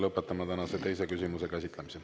Lõpetame tänase teise küsimuse käsitlemise.